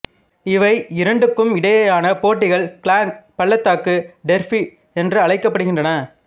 இவை இரண்டுக்கும் இடையேயான போட்டிகள் கிளாங் பள்ளத்தாக்கு டெர்பி என்றழைக்கப்படுகின்றன